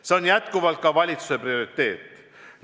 See on jätkuvalt ka valitsuse prioriteet.